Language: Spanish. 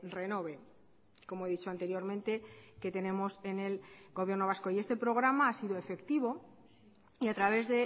renove como he dicho anteriormente que tenemos en el gobierno vasco y este programa ha sido efectivo y a través